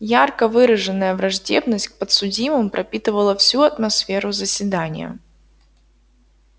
ярко выраженная враждебность к подсудимым пропитывала всю атмосферу заседания